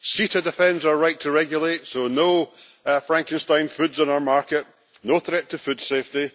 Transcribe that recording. CETA defends our right to regulate, so no Frankenstein foods in our market, no threat to food safety.